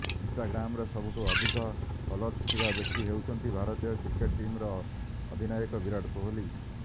ଇନଷ୍ଟାଗ୍ରାମରେ ସବୁଠୁ ଅଧିକ ଫଲୋଅର୍ସ ଥିବା ବ୍ୟକ୍ତି ହେଉଛନ୍ତି ଭାରତୀୟ କ୍ରିକେଟ ଟିମର ଅଧିନାୟକ ବିରାଟ କୋହଲି